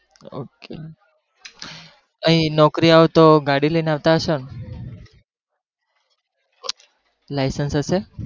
ok અહીં નોકરી આવતો તો ગાડી લઈને આવતા હશોને. licence હશે?